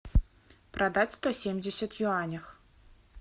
продать сто семьдесят юанях